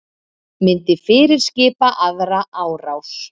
Myndi fyrirskipa aðra árás